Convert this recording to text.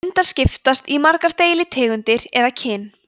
hundar skiptast í margar deilitegundir eða kyn